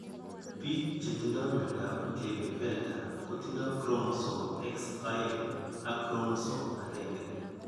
Biik chetindo myondap Klinefelter kotindo chromosome X aeng ak chromosome agenge.